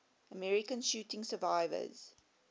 american shooting survivors